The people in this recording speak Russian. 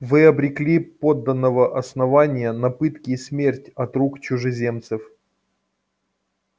вы обрекли подданого основания на пытки и смерть от рук чужеземцев